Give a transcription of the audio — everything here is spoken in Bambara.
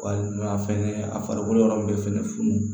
Walima fɛngɛ a farikolo yɔrɔ min bɛ fɛŋɛ funun